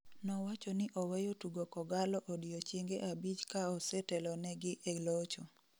nowachoni oweyo tugo kogalo odiechienge abich kaose telonigi e locho